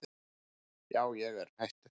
Já ég er hættur.